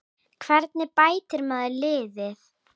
Hvernig bætir maður liðið?